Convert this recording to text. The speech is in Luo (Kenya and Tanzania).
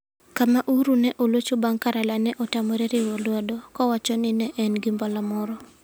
Kama Uhuru ne olocho bang ' ka Raila ne otamore riwo lwedo, kowacho ni ne en gi mbala moro.